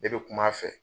Ne bɛ kum'a fɛ